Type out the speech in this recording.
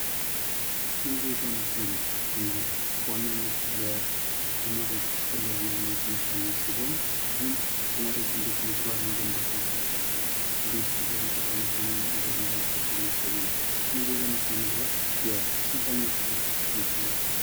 ስነ ዜጋና ስነ መግባር ትምህርት በዋናነት ለተማሪዎች አስፈላጊ የሆነ የትምህርት አይነት ሲሆን ይህም ተማሪዎች እንዴት መግባር መገንባት እንዳለባቸው እንዴት ሀገርን ጠቃሚ ሆነው ማደግ እንዳለባቸው የሚያሳይ ነው። ስነ ዜጋና ስነ መግባር የስንተኝ ክፍል ትምህርት ነው?